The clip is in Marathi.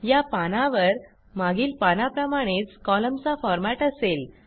या पानावर मागील पानाप्रमाणेच कॉलमचा फॉरमॅट असेल